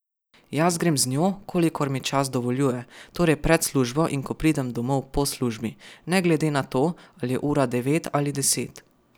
Jaz grem z njo, kolikor mi čas dovoljuje, torej pred službo in ko pridem domov po službi, ne glede na to, ali je ura devet ali deset.